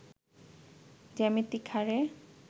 জ্যামিতিক হারে